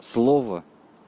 слово